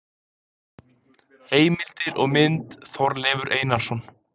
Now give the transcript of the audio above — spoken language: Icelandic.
Heimildir og mynd: Þorleifur Einarsson.